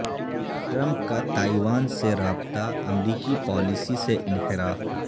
Trump کا Taiwan سے رابطہ امریکی پالیسی سے انحراف